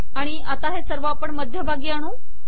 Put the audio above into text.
आणि आता हे सर्व आपण मध्यभागी आणू